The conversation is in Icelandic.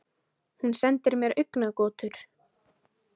Hún sendir mér augnagotur.